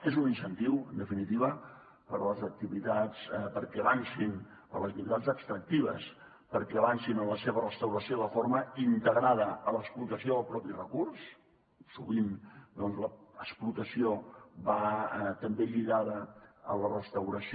és un incentiu en definitiva per a les activitats extractives perquè avancin en la seva restauració de forma integrada a l’explotació del recurs mateix sovint doncs l’explotació va també lligada a la restauració